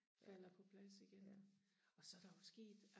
falder på plads igen og så er der jo sket